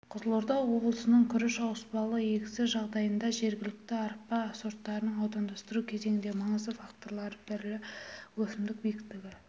қызылорда облысының күріш ауыспалы егісі жағдайында жергілікті арпа сорттарын аудандастыру кезінде маңызды факторлар бірі өсімдік биіктігі